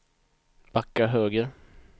backa höger